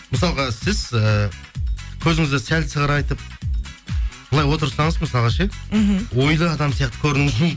мысалға сіз ііі көзіңізді сәл сығырайтып былай отырсаңыз мысалға ше мхм ойлы адам сияқты көрінуіңіз